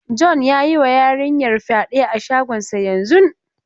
John ya yi wa yarinyar fyade a shagonsa yanzun.